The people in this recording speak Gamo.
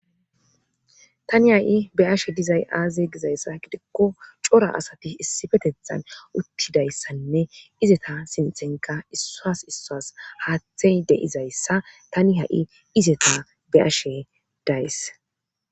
Tani ha7i be7ashe dizay aaze gizayssa gidikko cora asati issifetethan uttidayssanne izeta sinthenka issas issas haathey deizayssa tani ha7i izeta be7ashe days.